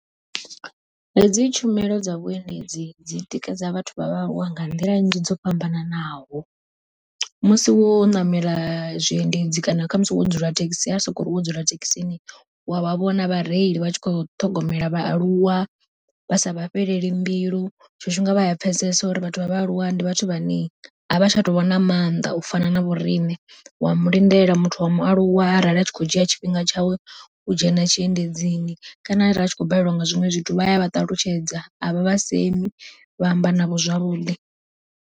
Hedzi tshumelo dza vhuendedzi dzi tikedza vhathu vha vhaaluwa nga nḓila nnzhi dzo fhambananaho, musi wo ṋamela zwiendedzi kana khamusi wo dzula thekhisi ari sokori wo dzula thekhisini wa vha vhona vhareili vha tshi kho ṱhogomelwa vhaaluwa vha sa vha fhelele mbilu. Tshiṅwe tshifhinga vha ya pfhesesa uri vhathu vha vhaaluwa ndi vhathu vha ne a vha tsha tou vhona maanḓa u fana na vhoriṋe, wa mu lindela muthu wa mualuwa arali a tshi khou dzhia tshifhinga tshawe u dzhena tshiendedzini, kana arali a tshi khou baleliwa nga zwiṅwe zwithu vha ya vha ṱalutshedza avha vha semi vha amba navho zwavhuḓi.